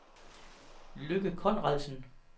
Lykke Conradsen